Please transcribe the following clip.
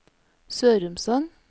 Sørumsand